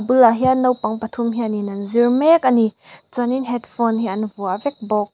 bulah hian naupang pathum hianin an zir mek a ni chuanin headphone hi an vuah vek bawk.